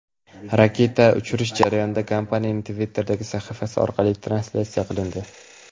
Raketani uchirish jarayoni kompaniyaning Twitter’dagi sahifasi orqali translyatsiya qilindi.